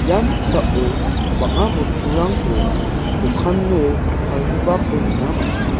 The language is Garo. ia noksao bang·a bosturangko dokano palgipako nikna man·enga.